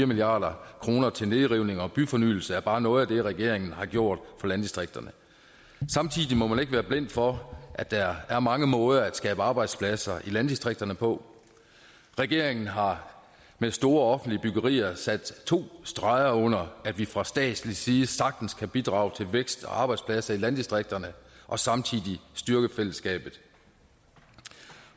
milliard kroner til nedrivning og byfornyelse er bare noget af det regeringen har gjort for landdistrikterne samtidig må man ikke være blind for at der er mange måder at skabe arbejdspladser i landdistrikterne på regeringen har med store offentlige byggerier sat to streger under at vi fra statslig side sagtens kan bidrage til vækst og arbejdspladser i landdistrikterne og samtidig styrke fællesskabet